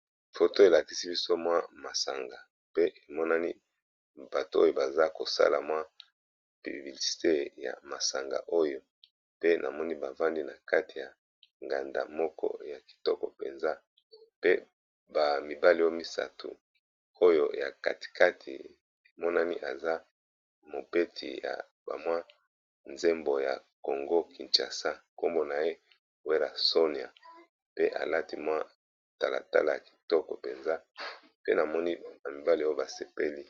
Phto elakisi biso mwa masanga pe emonani bato oyo baza kosala mwa pibibilisite ya masanga oyo pe namoni bavandi na kati ya nganda moko ya kitoko mpenza pe bamibale oy misato oyo ya katikati emonani aza mobeti ya bamwa nzembo ya congo kinchasa nkombo na ye werasonia pe alati mwa talatala ya kitoko mpenza pe namoni bamibale oyo basepeli.